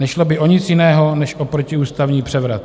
Nešlo by o nic jiného než o protiústavní převrat.